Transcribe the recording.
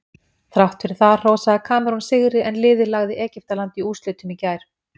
Þrátt fyrir það hrósaði Kamerún sigri en liðið lagði Egyptaland í úrslitum í gær.